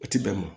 O ti bɛn mun